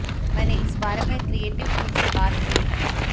मैंने इस बारे में क्रिएटिव टीम से बात की है